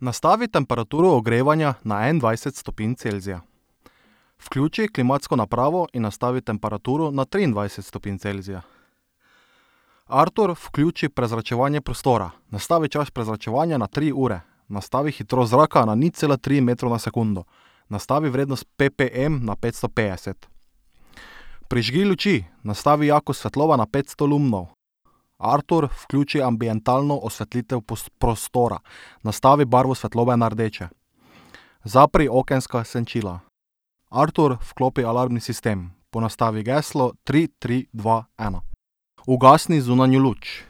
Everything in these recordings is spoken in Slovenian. Nastavi temperaturo ogrevanja na enaindvajset stopinj Celzija. Vključi klimatsko napravo in nastavi temperaturo na triindvajset stopinj Celzija. Artur, vključi prezračevanje prostora. Nastavi čas prezračevanja na tri ure. Nastavi hitrost zraka na nič cela tri metrov na sekundo. Nastavi vrednost ppm na petsto petdeset. Prižgi luči. Nastavi jakost svetlobe na petsto lumnov. Artur, vključi ambientalno osvetlitev prostora. Nastavi barvo svetlobe na rdeče. Zapri okenska senčila. Artur, vklopi alarmni sistem. Ponastavi geslo. Tri, tri, dva, ena. Ugasni zunanjo luč.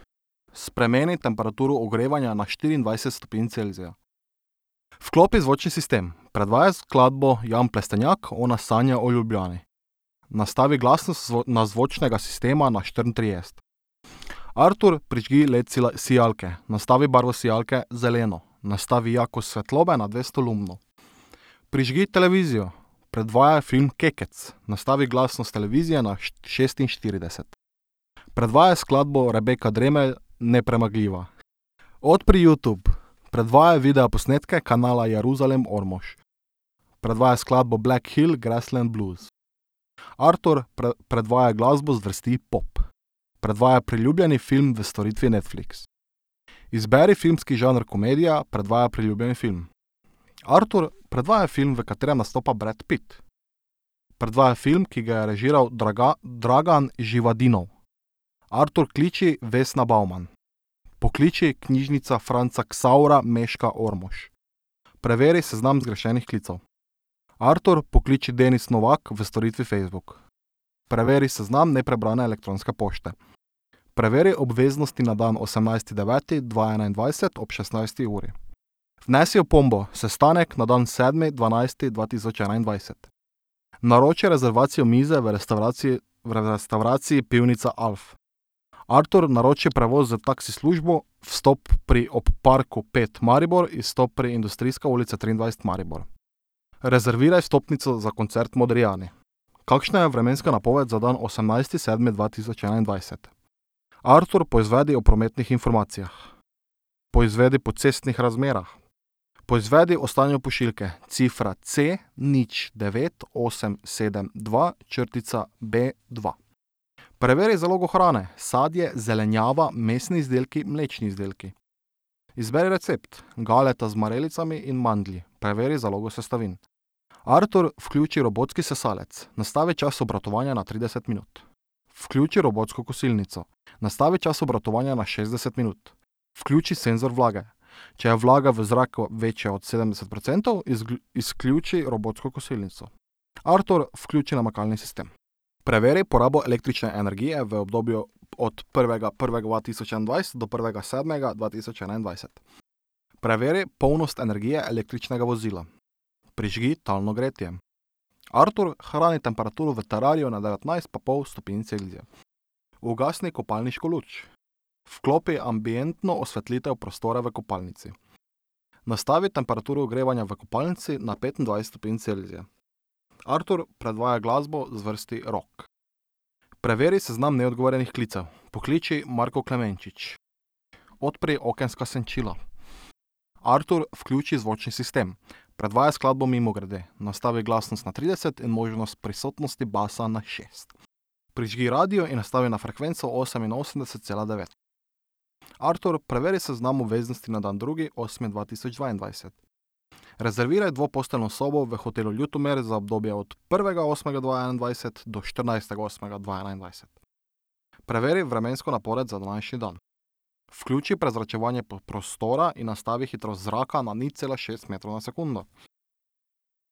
Spremeni temperaturo ogrevanja na štiriindvajset stopinj Celzija. Vklopi zvočni sistem. Predvajaj skladbo Jan Plestenjak Ona sanja o Ljubljani. Nastavi glasnost na zvočnega sistema na štiriintrideset. Artur, prižgi LED sijalke. Nastavi barvo sijalke zeleno. Nastavi jakost svetlobe na dvesto lumnov. Prižgi televizijo. Predvajaj film Kekec. Nastavi glasnost televizije na šestinštirideset. Predvajaj skladbo Rebeka Dremelj Nepremagljiva. Odpri Youtube. Predvajaj videoposnetke kanala Jeruzalem Ormož. Predvajaj skladbo Black Hill Grassland Blues. Artur, predvajaj glasbo zvrsti pop. Predvajaj priljubljeni film v storitvi Netflix. Izberi filmski žanr komedija, predvajaj priljubljeni film. Artur, predvajaj film, v katerem nastopa Brad Pitt. Predvajaj film, ki ga je režiral Dragan Živadinov. Artur, kliči Vesna Bauman. Pokliči Knjižnica Franca Ksavra Mežka Ormož. Preveri seznam zgrešenih klicev. Artur, pokliči Denis Novak v storitvi Facebook. Preveri seznam neprebrane elektronske pošte. Preveri obveznosti na dan osemnajsti deveti dva enaindvajset ob šestnajsti uri. Vnesi opombo: sestanek na dan sedmi dvanajsti dva tisoč enaindvajset. Naroči rezervacijo mize v restavraciji, v restavraciji Pivnica Alf. Artur, naroči prevoz s taksi službo, vstop pri Ob parku pet Maribor, izstop pri Industrijska ulica triindvajset Maribor. Rezerviraj vstopnico za koncert Modrijani. Kakšna je vremenska napoved za dan osemnajsti sedmi dva tisoč enaindvajset? Artur, poizvedi o prometnih informacijah. Poizvedi po cestnih razmerah. Poizvedi o stanju pošiljke. Cifra C nič, devet, osem, sedem, dva, črtica, B dva. Preveri zalogo hrane. Sadje, zelenjava, mesni izdelki, mlečni izdelki. Izberi recept. Galeta z marelicami in mandlji. Preveri zalogo sestavin. Artur, vključi robotski sesalec. Nastavi čas obratovanja na trideset minut. Vključi robotsko kosilnico. Nastavi čas obratovanja na šestdeset minut. Vključi senzor vlage. Če je vlaga v zraku večja od sedemdeset procentov, izključi robotsko kosilnico. Artur, vključi namakalni sistem. Preveri porabo električne energije v obdobju od prvega prvega dva tisoč enaindvajset do prvega sedmega dva tisoč enaindvajset. Preveri polnost energije električnega vozila. Prižgi talno gretje. Artur, hrani temperaturo v terariju na devetnajst pa pol stopinj Celzija. Ugasni kopalniško luč. Vklopi ambientno osvetlitev prostora v kopalnici. Nastavi temperaturo ogrevanja v kopalnici na petindvajset stopinj Celzija. Artur, predvajaj glasbo zvrsti rock. Preveri seznam neodgovorjenih klicev. Pokliči Marko Klemenčič. Odpri okenska senčila. Artur, vključi zvočni sistem. Predvajaj skladbo Mimogrede. Nastavi glasnost na trideset in možnost prisotnosti basa na šest. Prižgi radio in nastavi na frekvenco oseminosemdeset cela devet. Artur, preveri seznam obveznosti na dan drugi osmi dva tisoč dvaindvajset. Rezerviraj dvoposteljno sobo v hotelu Ljutomer za obdobje od prvega osmega dva enaindvajset do štirinajstega osmega dva enaindvajset. Preveri vremensko napoved za današnji dan. Vključi prezračevanje prostora in nastavi hitrost zraka na nič cela šest metra na sekundo.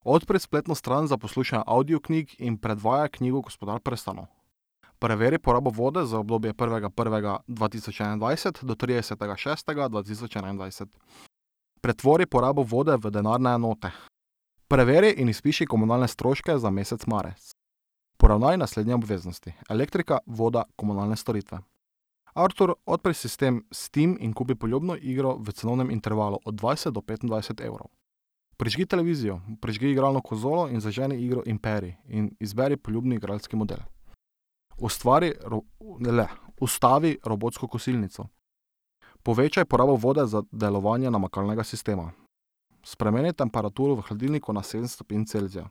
Odpri spletno stran za poslušanje avdioknjig in predvajaj knjigo Gospodar prstanov. Preveri porabo vode za obdobje prvega prvega dva tisoč enaindvajset do tridesetega šestega dva tisoč enaindvajset. Pretvori porabo vode v denarne enote. Preveri in izpiši komunalne stroške za mesec marec. Poravnaj naslednje obveznosti. Elektrika, voda, komunalne storitve. Artur, odpri sistem Steam in kupi poljubno igro v cenovnem intervalu od dvajset do petindvajset evrov. Prižgi televizijo. Prižgi igralno konzolo in zaženi igro Imperij in izberi poljubni igralski model. Ustvari Ustavi robotsko kosilnico. Povečaj porabo vode za uporabo namakalnega sistema. Spremeni temperaturi v hladilniku na sedem stopinj Celzija.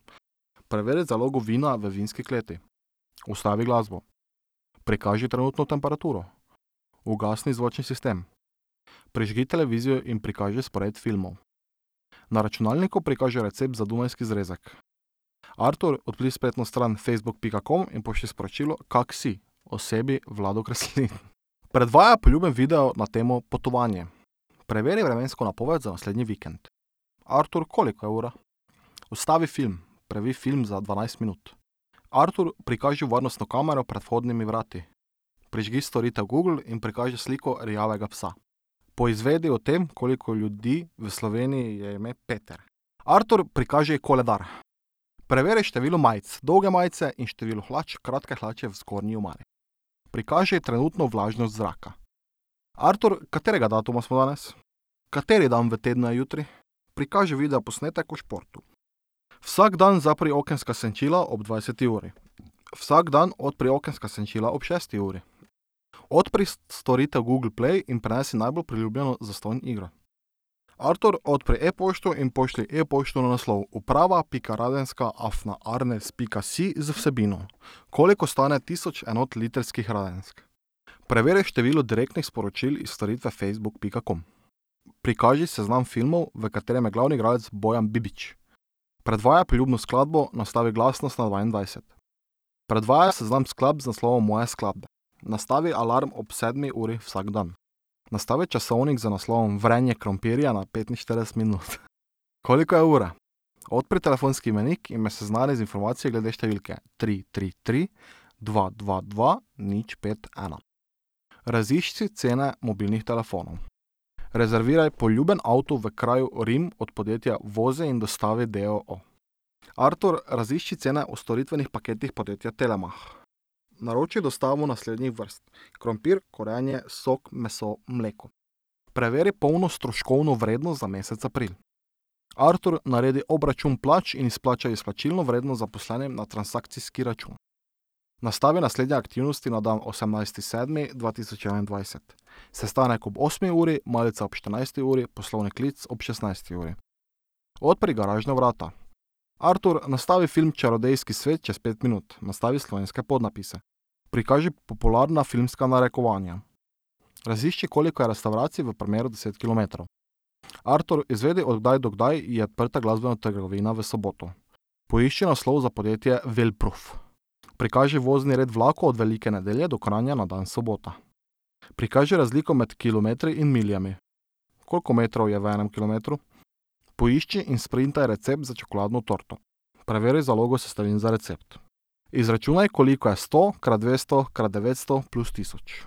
Preveri zalogo vina v vinski kleti. Ustavi glasbo. Prikaži trenutno temperaturo. Ugasni zvočni sistem. Prižgi televizijo in prikaži spored filmov. Na računalniku prikaži recept za dunajski zrezek. Artur, odpri spletno stran Facebook pika com in pošlji sporočilo: "Kako si?" osebi Vlado Kreslin. Predvajaj priljubljeni video na temo potovanje. Preveri vremensko napoved za naslednji vikend. Artur, koliko je ura? Ustavi film. Previj film za dvanajst minut. Artur, prikaži varnostno kamero pred vhodnimi vrati. Prižgi storitev Google in prikaži sliko rjavega psa. Poizvedi o tem, koliko ljudi v Sloveniji je ime Peter. Artur, prikaži koledar. Preveri število majic, dolge majice, in število hlač, kratke hlače, v zgornji omari. Prikaži trenutno vlažnost zraka. Artur, katerega datuma smo danes? Kateri dan v tednu je jutri? Prikaži videoposnetek o športu. Vsak dan zapri okenska senčila ob dvajseti uri. Vsak dan odpri okenska senčila ob šesti uri. Odpri storitev Google Play in prenesi najbolj priljubljeno zastonj igro. Artur, odpri e-pošto in pošlji e-pošto na naslov: uprava pika radenska afna arnes pika si z vsebino: "Koliko stane tisoč enot litrskih radensk?" Preveri število direktnih sporočil iz storitve Facebook pika com. Prikaži seznam filmov, v katerem je glavni igralec Bojan Bibič. Predvajaj priljubljeno skladbo. Nastavi glasnost na dvaindvajset. Predvajaj seznam skladb z naslovom Moje skladbe. Nastavi alarm ob sedmi uri vsak dan. Nastavi časovnik z naslovom Vrenje krompirja na petinštirideset minut. Koliko je ura? Odpri telefonski imenik in me seznani z informacijo glede številke tri, tri, tri, dva, dva, dva, nič, pet, ena. Razišči cene mobilnih telefonov. Rezerviraj poljuben avto v kraju Rim od podjetja Vozi in dostavi d. o. o. Artur, razišči cene o storitvenih paketih podjetja Telemach. Naroči dostavo naslednjih vrst. Krompir, korenje, sok, meso, mleko. Preveri polno stroškovno vrednost za mesec april. Artur, naredi obračun plač in izplačaj izplačilno vrednost zaposlenim na transakcijski račun. Nastavi naslednje aktivnosti na dan osemnajsti sedmi dva tisoč enaindvajset. Sestanek ob osmi uri, malica ob štirinajsti uri, poslovni klic ob šestnajsti uri. Odpri garažna vrata. Artur, nastavi film Čarodejski svet čez pet minut. Nastavi slovenske podnapise. Prikaži popularna filmska narekovanja. Razišči, koliko je restavracij v premeru deset kilometrov. Artur, izvedi, od kdaj do kdaj je odprta glasbena trgovina v soboto. Poišči naslov za podjetje Wellproof. Prikaži vozni red vlakov od Velike Nedelje do Kranja na dan sobota. Prikaži razliko med kilometri in miljami. Koliko metrov je v enem kilometru? Poišči in sprintaj recept za čokoladno torto. Preveri zalogo sestavin za recept. Izračunaj, koliko je sto krat dvesto krat devetsto plus tisoč.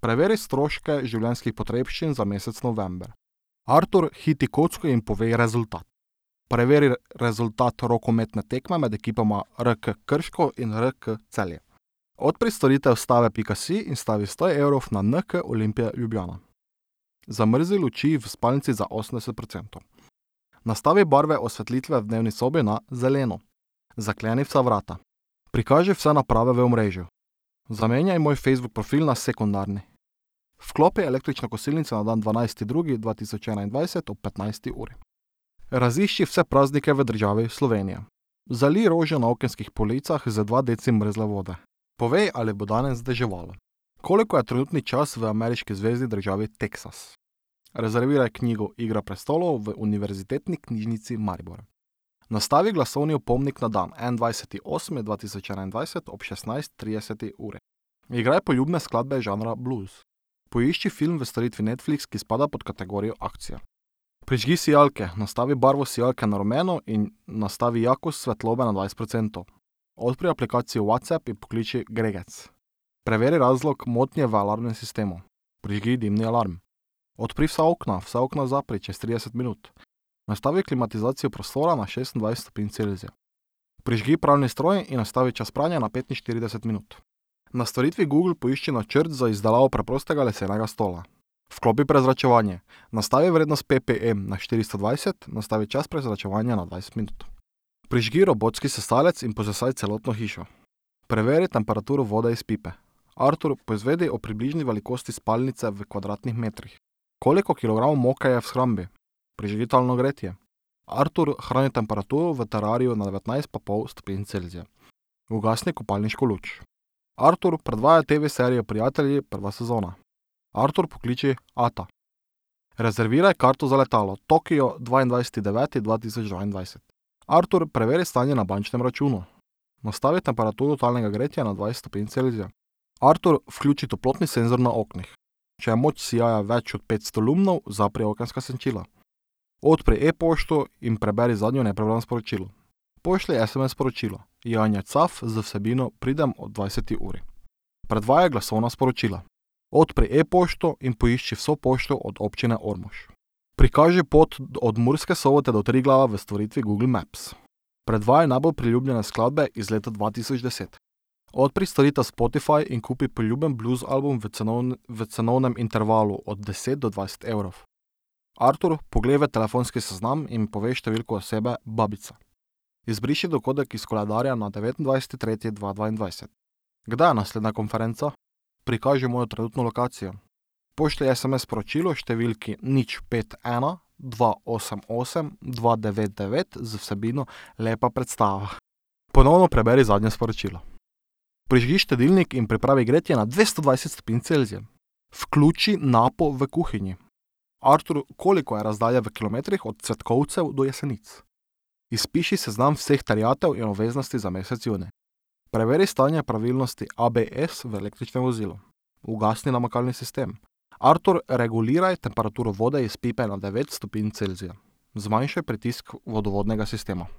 Preveri stroške življenjskih potrebščin za mesec november. Artur, hitaj kocko in povej rezultat. Preveri rezultat rokometne tekme med ekipama RK Krško in RK Celje. Odpri storitev stave pika si in stavi sto evrov na NK Olimpija Ljubljana. Zamrzni luči v spalnici za osemdeset procentov. Nastavi barve osvetlitve v dnevni sobi na zeleno. Zakleni vsa vrata. Prikaži vse naprave v omrežju. Zamenjaj moj Facebook profil na sekundarni. Vklopi električno kosilnico na dan dvanajsti drugi dva tisoč enaindvajset ob petnajsti uri. Razišči vse praznike v državi Slovenija. Zalij rože na okenskih policah z dva deci mrzle vode. Povej, ali bo danes deževalo. Koliko je trenutni čas v ameriški zvezni državi Teksas? Rezerviraj knjigo Igra prestolov v Univerzitetni knjižnici Maribor. Nastavi glasovni opomnik na dan enaindvajseti osmi dva tisoč enaindvajset ob šestnajst trideseti uri. Igraj poljubne skladbe žanra bluz. Poišči film v storitvi Netflix, ki spada pod kategorijo akcija. Prižgi sijalke. Nastavi barvo sijalke na rumeno in nastavi jakost svetlobe na dvajset procentov. Odpri aplikacijo WhatsApp in pokliči Gregec. Preveri razlog motnje v alarmnem sistemu. Prižgi dimni alarm. Odpri vsa okna. Vsa okna zapri čez trideset minut. Nastavi klimatizacijo prostora na šestindvajset stopinj Celzija. Prižgi pralni stroj in nastavi čas pranja na petinštirideset minut. Na storitvi Google poišči načrt za izdelavo preprostega lesenega stola. Vklopi prezračevanje. Nastavi vrednost PPE na štiristo dvajset, nastavi čas prezračevanja na dvajset minut. Prižgi robotski sesalec in posesaj celotno hišo. Preveri temperaturo vode iz pipe. Artur, poizvedi o približni velikosti spalnice v kvadratnih metrih. Koliko kilogramov moke je v shrambi? Prižgi talno gretje. Artur, hrani temperaturo v terariju na devetnajst pa pol stopinj Celzija. Ugasni kopalniško luč. Artur, predvajaj TV-serijo Prijatelji prva sezona. Artur, pokliči ata. Rezerviraj karto za letalo v Tokio dvaindvajseti deveti dva tisoč dvaindvajset. Artur, preveri stanje na bančnem računu. Nastavi temperaturo talnega gretja na dvajset stopinj Celzija. Artur, vključi toplotni senzor na oknih. Če je moč sijaja več od petsto lumnov, zapri okenska senčila. Odpri e-pošto in preberi zadnje neprebrano sporočilo. Pošlji SMS sporočilo Janja Caf z vsebino: "Pridem ob dvajseti uri." Predvajaj glasovna sporočila. Odpri e-pošto in poišči vso pošto od Občine Ormož. Prikaži pot od Murske Sobote do Triglava v storitvi Google Maps. Predvajaj najbolj priljubljene skladbe iz leta dva tisoč deset. Odpri storitev Spotify in kupi poljuben blues album v v cenovnem intervalu od deset do dvajset evrov. Artur, poglej v telefonski seznam in povej številko osebe Babica. Izbriši dogodek iz koledarja na devetindvajseti tretji dva dvaindvajset. Kdaj je naslednja konferenca? Prikaži mojo trenutno lokacijo. Pošlji SMS sporočilo številki nič, pet, ena, dva, osem, osem, dva, devet, devet z vsebino: "Lepa predstava." Ponovno preberi zadnje sporočilo. Prižgi štedilnik in pripravi gretje na dvesto dvajset stopinj Celzija. Vključi napo v kuhinji. Artur, koliko je razdalja v kilometrih od Cvetkovcev do Jesenic? Izpiši seznam vseh terjatev in obveznosti za mesec junij. Preveri stanje pravilnosti ABS v električnem vozilu. Ugasni namakalni sistem. Artur, reguliraj temperaturo vode iz pipe na devet stopinj Celzija. Zmanjšaj pritisk vodovodnega sistema.